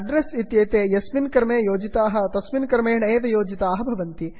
address इत्येते यस्मिन् क्रमे योजिताः तस्मिन् क्रमेण एव क्रमबद्धाः भवन्ति